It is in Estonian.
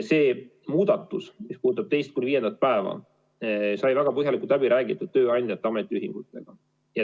See muudatus, mis puudutab teist kuni viiendat päeva, sai väga põhjalikult läbi räägitud tööandjate ametiühingutega.